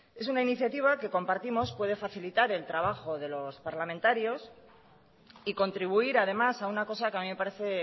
es una iniciativa que compartimos puede facilitar el trabajo de los parlamentarios y contribuir además a una cosa que a mí me parece